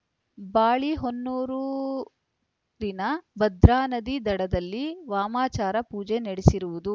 ಬಾಳೆಹೊನ್ನೂರಿನ ಭದ್ರಾನದಿ ದಡದಲ್ಲಿ ವಾಮಾಚಾರ ಪೂಜೆ ನಡೆಸಿರುವುದು